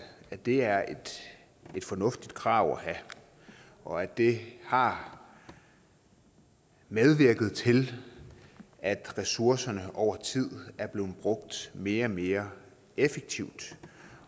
at det er et fornuftigt krav at have og at det har medvirket til at ressourcerne over tid er blevet brugt mere og mere effektivt